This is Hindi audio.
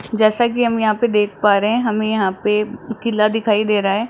जैसा कि हम यहां पे देख पा रहे हैं हमें यहां पे किला दिखाई दे रहा--